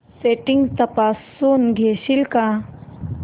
settings तपासून घेशील का